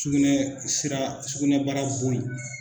Sugunɛ sira sugunɛbara bon in